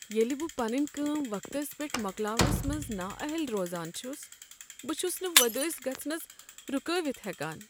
ییٚلہ بہٕ پنٕنہِ کٲم وقتس پیٹھ مۄکلاونس منز نااہل روزان چھُس، بہٕ چھُس نہٕ وۄدٲسۍ گژھنس رٗكٲوِتھ ہٮ۪کان۔